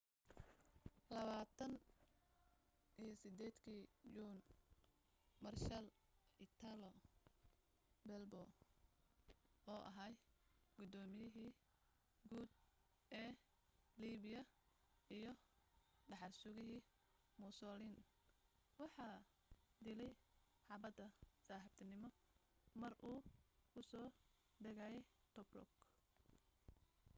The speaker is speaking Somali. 28 kii juun maarshaal italo balbo oo ahaa gudooymiyihii guud ee liibiya iyo dhaxal-sugihii mussolin waxa dilay xabbad saaxiibtiinimo mar uu ku soo degayay tobruk